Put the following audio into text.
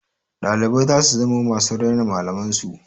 Ɗalibai za su zamo masu raina malaman su.